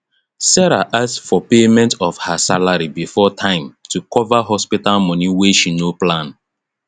sarah ask for payment of her salary before time to cover hospital money wey she no plan